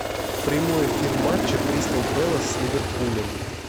прямой эфир матча кристал пэлас с ливерпулем